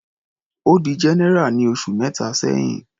Ó di general ní oṣù mẹta sẹ́hìn.